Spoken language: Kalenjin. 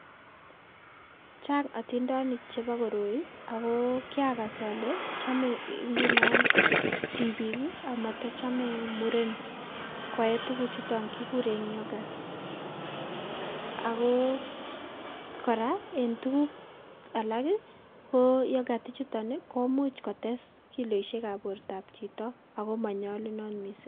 Chang' otindonik chebo koroi ago kirakas ole chome ngunon tibik amatochome muren koee tuguchuton kikuren yoghurt. Ago kora en tugul alak ko yoghurt komuch kotes kiloisiekab chito ago monyolunot missing'.